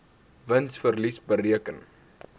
wins verlies bereken